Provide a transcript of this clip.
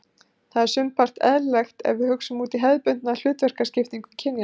Það er sumpart eðlilegt ef við hugsum út hefðbundna hlutverkaskiptingu kynjanna.